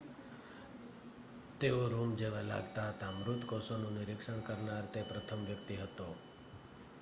તેઓ રૂમ જેવા લાગતા હતા મૃત કોષોનું નિરીક્ષણ કરનાર તે પ્રથમ વ્યક્તિ હતો